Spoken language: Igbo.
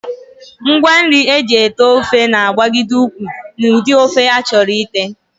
Ngwanri e ji ete ofe na-agbagide ụkwụ n'ụdị ofe a chọrọ ite